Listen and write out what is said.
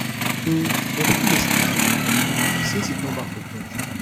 um my pikin dey sleep sleep um since he come back from church